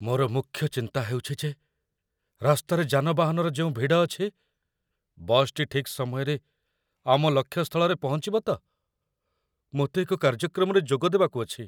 ମୋର ମୁଖ୍ୟ ଚିନ୍ତା ହେଉଛି ଯେ ରାସ୍ତାରେ ଯାନବାହନର ଯେଉଁ ଭିଡ଼ ଅଛି, ବସ୍‌ଟି ଠିକ୍ ସମୟରେ ଆମ ଲକ୍ଷ୍ୟ ସ୍ଥଳରେ ପହଞ୍ଚିବ ତ? ମୋତେ ଏକ କାର୍ଯ୍ୟକ୍ରମରେ ଯୋଗ ଦେବାକୁ ଅଛି।